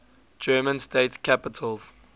german state capitals